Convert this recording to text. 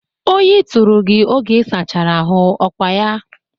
Oyi tụrụ gị oge isachara ahụ ọ kwa ya?